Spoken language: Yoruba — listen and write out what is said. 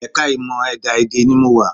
Ẹ̀ka ìmọ̀ ẹ̀dá-èdè ni mo wà